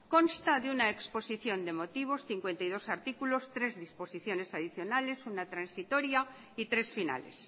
consta de una exposición de motivos cincuenta y dos artículos tres disposiciones adicionales uno transitoria y tres finales